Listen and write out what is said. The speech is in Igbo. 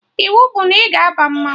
Iwu bụ na ị ga-aba mmanwụ